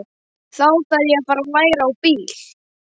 Þá þarf ég að fara að læra á bíl.